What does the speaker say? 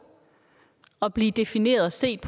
at blive defineret og set